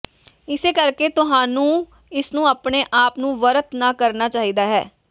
ਇਸੇ ਕਰਕੇ ਤੁਹਾਨੂੰ ਇਸ ਨੂੰ ਆਪਣੇ ਆਪ ਨੂੰ ਵਰਤ ਨਾ ਕਰਨਾ ਚਾਹੀਦਾ ਹੈ